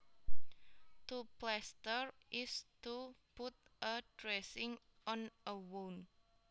To plaster is to put a dressing on a wound